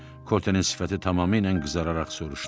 Kotenin sifəti tamamilə qızararaq soruşdu.